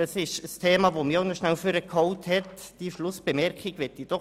Auch der Antrag der Regierung hat mich nach vorne geholt.